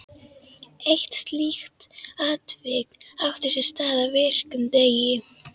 Eitt slíkt atvik átti sér stað á virkum degi.